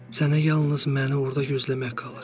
Sənə yalnız məni orda gözləmək qalır.